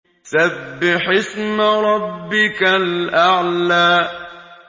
سَبِّحِ اسْمَ رَبِّكَ الْأَعْلَى